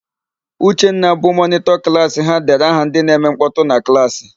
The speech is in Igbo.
Uchenna, bụ mọnịtọ klaasị ha dere aha ndị na-eme nkpọtụ na klaasị.